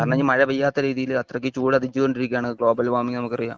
കാരണം ഇനിയും മഴ പെയ്യാത്ത രീതിയിൽ ചൂട് അതിക്രമിച്ചുകൊണ്ട് ഇരിക്കുകയാണ് ഗ്ലോബൽ വാമിങ് നമുക്ക് അറിയാം